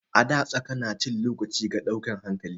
A da saƙa na cin lokaci ga dauke hankali.